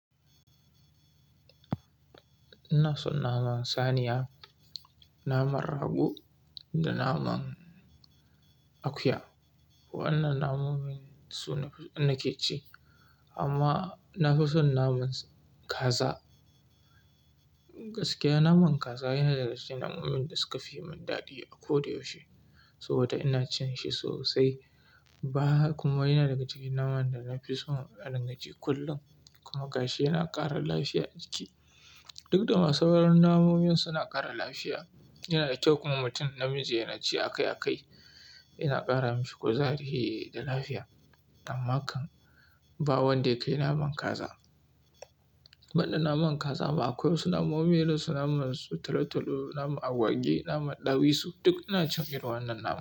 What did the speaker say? Ina son naman saniya, naman rago da naman akuya. Wannan namomin su nafi nake ci. Amma na fi son naman kaza. Gaskiya naman kaza yana daga cikin namomin da suka fi mun daɗi a kodayaushe saboda ina cin shi sosai. Bayanhaka kuma yana daga cikin naman da na fi so a rangaji kullum. Kuma gashi yana ƙara lafiya a jiki. Duk da masauran namomin suna ƙara lafiya, yana da kyau kuma mutum namiji yana ci akai-akai. Yana ƙara mushi kuzari da lafiya. Ammakan ba wanda ya kai naman kaza. Ban da naman kaza ma akwai wasu namomi irin su naman su tolo-tolo, naman agwagi, naman ɗawisu duk ina cin irin wannan nama.